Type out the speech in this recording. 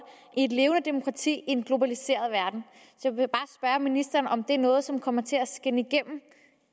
i et levende demokrati i en globaliseret verden og ministeren om det er noget som kommer til at skinne igennem